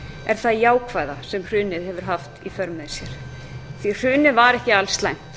er það jákvæða sem hrunið hefur haft í för með sér hrunið var ekki alslæmt